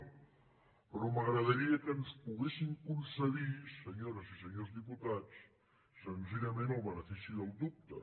però m’agradaria que ens poguessin concedir senyores i senyors diputats senzillament el benefici del dubte